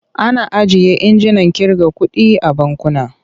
Ana ajiye injinan ƙirga kuɗi a bankuna.